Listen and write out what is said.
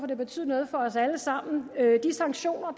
det betyder noget for os alle sammen de sanktioner